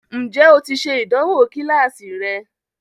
Ǹjẹ́ o ti ṣe ìdánwò kíláàsì rẹ?